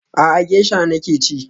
A'a, gesha nake ci